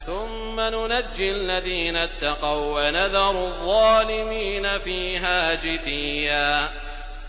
ثُمَّ نُنَجِّي الَّذِينَ اتَّقَوا وَّنَذَرُ الظَّالِمِينَ فِيهَا جِثِيًّا